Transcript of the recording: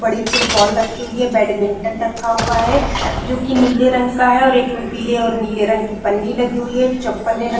बड़ी फुटबॉल रखी हुई है बैडमिंटन रखा हुआ है जोकि नीले रंग का है और एक में पीले और नीले रंग की पन्नी लगी हुई है चप्पल ले --